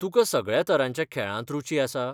तुकां सगळ्या तरांच्या खेळांत रूची आसा?